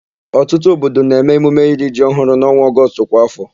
Ọtụtụ obodo na-eme emume iri ji ọhụụ n'ọnwa Ọgọstụ kwa áfọ.